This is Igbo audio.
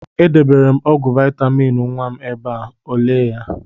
E debere m ọgwụ vaịtamịn nwa m ebe a, o lee ya?